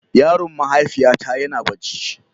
Yaron mahaifiyata yana barci.